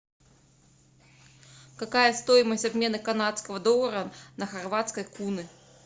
какая стоимость обмена канадского доллара на хорватские куны